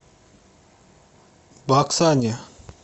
баксане